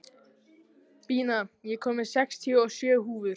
Bína, ég kom með sextíu og sjö húfur!